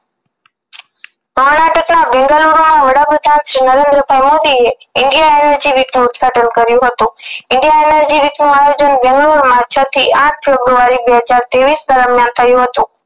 કર્ણાટકના બેંગલૂરમાં વડાપ્રધાન શ્રી નરેન્દ્રભાઇ મોદીએ india energy week નું ઉદ્ઘાટન કર્યું હતું india energy week નું આયોજન છ થી આંઠ ફેબ્રુઆરી બે હજાર ત્રેવીસ દરમિયાન થયું હતું